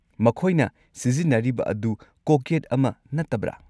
ꯃꯈꯣꯏꯅ ꯁꯤꯖꯤꯟꯅꯔꯤꯕ ꯑꯗꯨ ꯀꯣꯛꯌꯦꯠ ꯑꯃ ꯅꯠꯇꯕ꯭ꯔꯥ?